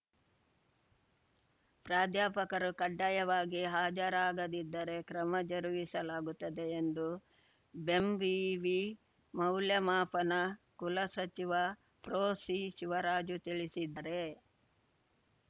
ಪ್ರಾಧ್ಯಾಪಕರು ಕಡ್ಡಾಯವಾಗಿ ಹಾಜರಾಗದಿದ್ದರೆ ಕ್ರಮ ಜರುಗಿಸಲಾಗುತ್ತದೆ ಎಂದು ಬೆಂವಿವಿ ಮೌಲ್ಯಮಾಪನ ಕುಲಸಚಿವ ಪ್ರೊಸಿಶಿವರಾಜು ತಿಳಿಸಿದ್ದಾರೆ